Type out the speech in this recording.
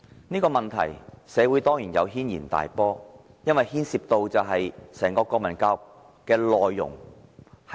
這個問題在社會上引起軒然大波，因為牽涉到整個國民教育的內容。